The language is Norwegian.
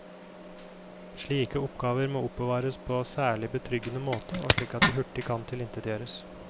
Slike oppgaver må oppbevares på særlig betryggende måte og slik at de hurtig kan tilintetgjøres.